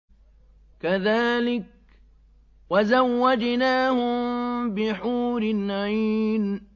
كَذَٰلِكَ وَزَوَّجْنَاهُم بِحُورٍ عِينٍ